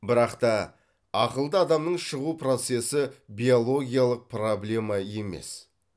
бірақта ақылды адамның шығу процесі биолигиялық проблема емес